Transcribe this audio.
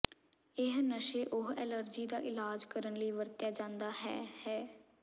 ਇਹ ਨਸ਼ੇ ਉਹ ਐਲਰਜੀ ਦਾ ਇਲਾਜ ਕਰਨ ਲਈ ਵਰਤਿਆ ਜਾਦਾ ਹੈ ਹੈ